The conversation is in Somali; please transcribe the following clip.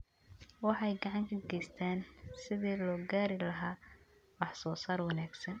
Waxay gacan ka geystaan ??sidii loo gaari lahaa wax-soo-saar wanaagsan.